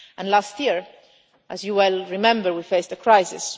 Last year, as you well remember, we faced a crisis.